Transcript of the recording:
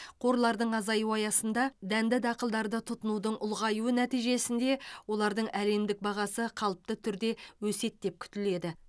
қорларының азаюы аясында дәнді дақылдарды тұтынудың ұлғаюы нәтижесінде олардың әлемдік бағасы қалыпты түрде өседі деп күтіледі